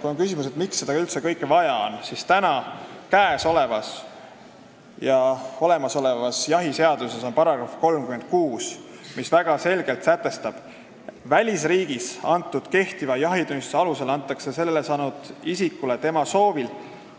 Kui on küsimus, miks seda kõike üldse vaja on, siis ütlen, et olemasolevas jahiseaduses on § 36, mis väga selgelt sätestab, et välisriigis antud kehtiva jahitunnistuse alusel antakse selle saanud isikule tema soovil,